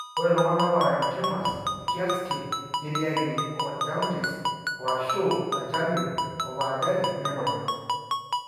Ore iltung'anak oata intiumors eKlatskin netii aigil oJaundice o/ashu olchamei opaadhari lemonyua.